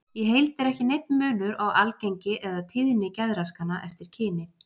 Í heild er ekki neinn munur á algengi eða tíðni geðraskana eftir kyni.